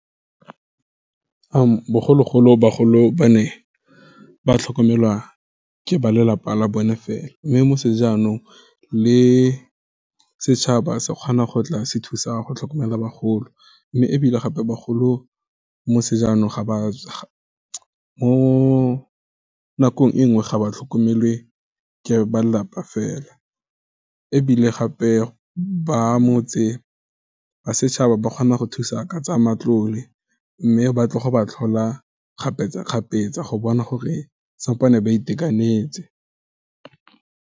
Bogologolo bagolo ba ne, ba tlhokomelwa ke ba lelapa la bone fela, mme mo sejanong le setšhaba, sekgona go tla se thusa go tlhokomela bagolo, mme ebile gape bagolo, mo nakong e nngwe, ga ba tlhokomele ke ba lelapa fela, ebile ba setšhaba ba kgona go thusa ka tsa matlole, mme batlo go ba tlhola kgapetsakgapetsa, go bona gore sampane ba itekanetse.